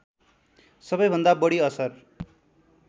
सबैभन्दा बढी असर